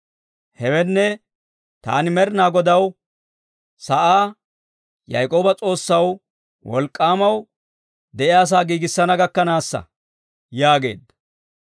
Hewenne, taani Med'inaa Godaw sa'aa, Yaak'ooba S'oossaw, Wolk'k'aamaw de'iyaasaa giigissana gakkanaassa» yaageedda.